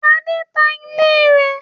Adé ta ilé rẹ̀.